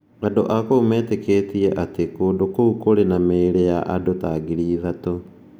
Andũ a kũu metĩkĩtie atĩ kũndũ kũu kũrĩ na mĩĩrĩ ya andũ ta ngiri ithatũ.